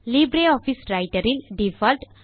Libre Office Writer இல் default